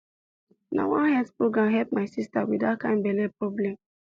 na one health program help my sister with that kind belly problem